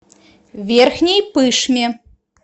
верхней пышме